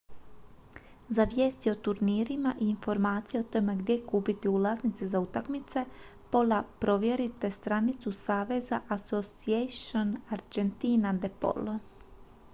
za vijesti o turnirima i informacije o tome gdje kupiti ulaznice za utakmice pola provjerite stranicu saveza asociacion argentina de polo